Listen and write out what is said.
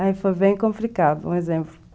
Aí foi bem complicado, um exemplo.